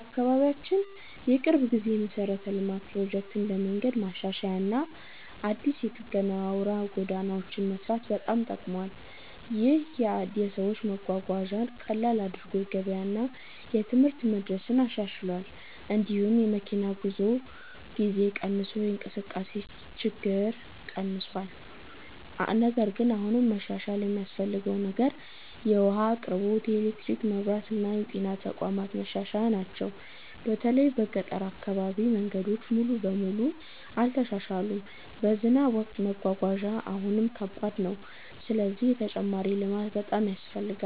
በአካባቢያችን የቅርብ ጊዜ የመሠረተ ልማት ፕሮጀክት እንደ መንገድ ማሻሻያ እና አዲስ የጠገና አውራ ጎዳናዎች መስራት በጣም ጠቅሟል። ይህ ለሰዎች መጓጓዣን ቀላል አድርጎ የገበያ እና የትምህርት መድረስን አሻሽሏል። እንዲሁም የመኪና ጉዞ ጊዜ ቀንሶ የእንቅስቃሴ ችግኝ ተቀንሷል። ነገር ግን አሁንም መሻሻል የሚያስፈልገው ነገር የውሃ አቅርቦት፣ የኤሌክትሪክ መብራት እና የጤና ተቋማት ማሻሻያ ናቸው። በተለይ በገጠር አካባቢ መንገዶች ሙሉ በሙሉ አልተሻሻሉም፣ በዝናብ ወቅት መጓጓዣ አሁንም ከባድ ነው። ስለዚህ ተጨማሪ ልማት በጣም ያስፈልጋል።